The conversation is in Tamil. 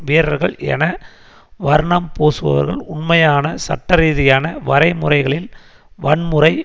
வீரர்கள் என வர்ணம்பூசுபவர்கள் உண்மையான சட்டரீதியான வரைமுறைகளில் வன்முறை